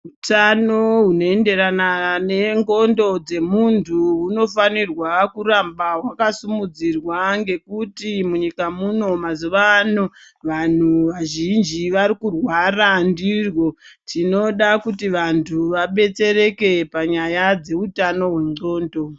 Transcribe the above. Utano hunoenderana nendxondo dzemunhu hunofanirwa kuramba hwakasimudzirwa ngekuti munyika muno mazuwa ano vanhu vazhinji varikurwara ndihwo. Tinoda kuti vanhu vadetsereke panyaya dzeutano hwendxondo.